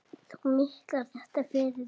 Þú miklar þetta fyrir þér.